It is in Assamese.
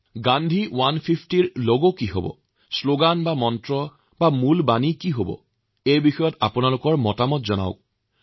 গান্ধী ১৫০ৰ লগ কি হব পাৰে শ্লোগান কি হব পাৰে এই সকলো বিষয়ত আপোনালোকৰ কি পৰামৰ্শ সেয়া জনাওক